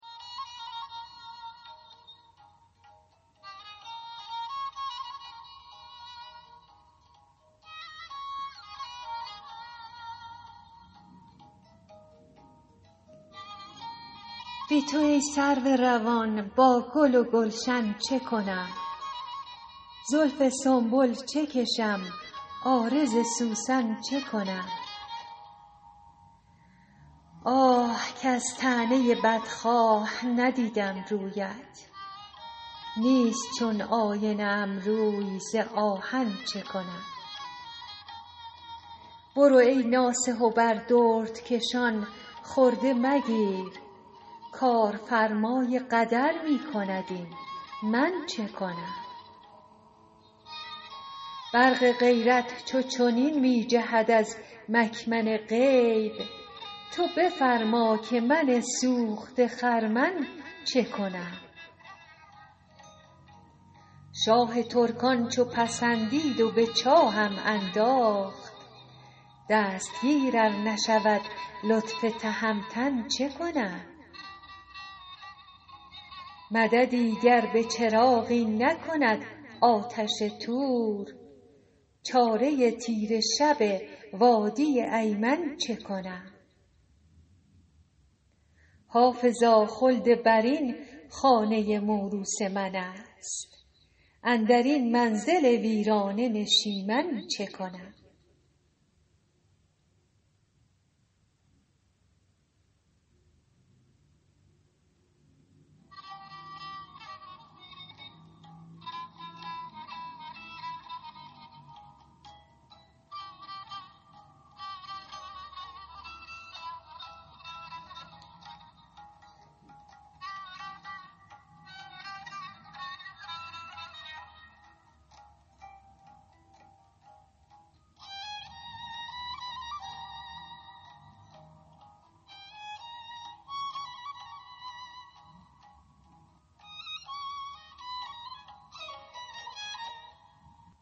بی تو ای سرو روان با گل و گلشن چه کنم زلف سنبل چه کشم عارض سوسن چه کنم آه کز طعنه بدخواه ندیدم رویت نیست چون آینه ام روی ز آهن چه کنم برو ای ناصح و بر دردکشان خرده مگیر کارفرمای قدر می کند این من چه کنم برق غیرت چو چنین می جهد از مکمن غیب تو بفرما که من سوخته خرمن چه کنم شاه ترکان چو پسندید و به چاهم انداخت دستگیر ار نشود لطف تهمتن چه کنم مددی گر به چراغی نکند آتش طور چاره تیره شب وادی ایمن چه کنم حافظا خلدبرین خانه موروث من است اندر این منزل ویرانه نشیمن چه کنم